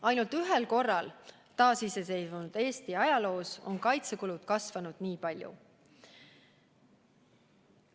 Ainult ühel korral taasiseseisvunud Eesti ajaloos on kaitsekulud kasvanud nii palju.